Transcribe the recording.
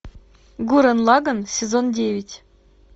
гуррен лаганн сезон девять